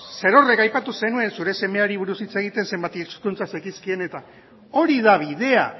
zerorrek aipatu zenuen zure semeari buruz hitz egiten zenbat hizkuntza zekizkien eta hori da bidea